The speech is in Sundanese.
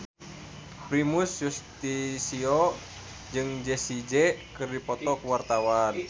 Primus Yustisio jeung Jessie J keur dipoto ku wartawan